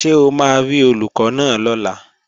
Ṣé o máa rí Olùkọ́ náà lọ́la?